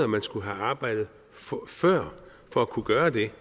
man skulle have arbejdet for at kunne gøre det